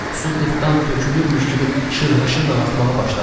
Su qıfdan tökülürmüş kimi şırhaşır axmağa başladı.